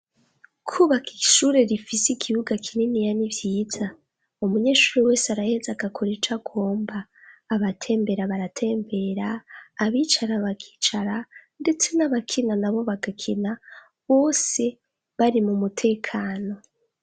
kubak’ishure rifis’ikibuga kininiya n'ivyiza, umunyeshuri wes, arahez’agakora ica gomba abatembera baratembera abicara bakicara ndetse n'abakina nabo bagakina bose bari mu mutekano.